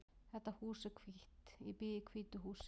Þetta hús er hvítt. Ég bý í hvítu húsi.